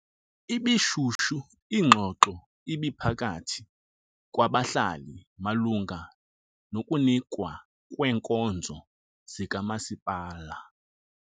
Ibishushu ingxoxo ebiphakathi kwabahlali malunga nokunikwa kweenkonzo zikamasipala.